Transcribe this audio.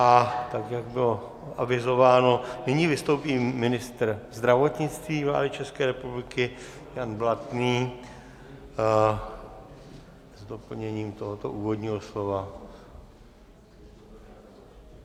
A tak, jak bylo avizováno, nyní vystoupí ministr zdravotnictví vlády České republiky Jan Blatný s doplněním tohoto úvodního slova.